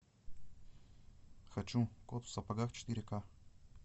хочу кот в сапогах четыре ка